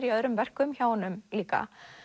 í öðrum verkum hjá honum líka